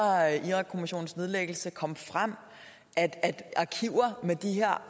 irakkommissionens nedlæggelse kom frem at arkiver med de her